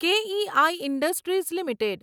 કે E I industries limited